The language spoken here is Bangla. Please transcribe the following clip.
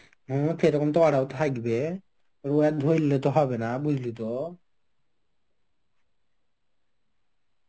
সেরকম তো ওরাও থাকবে রোয়াদ ধরলে তো হবে না বুঝলি তো.